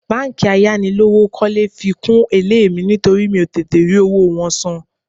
Báńkì ayánilówókọ́lé fi kún èlé mi nítorí mi ò tètè rí owó wọn san